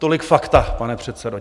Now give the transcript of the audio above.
Tolik fakta, pane předsedo.